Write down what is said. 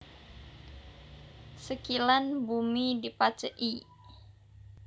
Sekilan bumi dipajeki